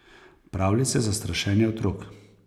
Pravljice za strašenje otrok.